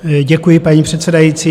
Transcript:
Děkuji, paní předsedající.